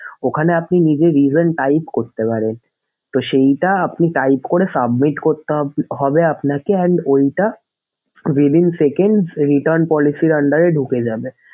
ওখানে আপনি নিজে even type করতে পারেন। তো সেইটা আপনি type করে submit করতে হবে আপনাকে and ঐটা within seconds return policy র under এ ঢুকে যাবে।